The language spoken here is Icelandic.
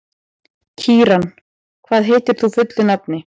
Kíran, hvað heitir þú fullu nafni?